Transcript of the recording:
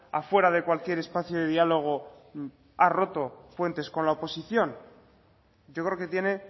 afuera de cualquier espacio de diálogo ha roto fuentes con la oposición yo creo que tiene